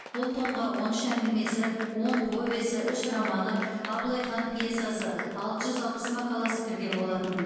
бұл томға он үш әңгімесі он повесі үш романы абылайхан пьесасы алты жүз алпыс мақаласы кірген болатын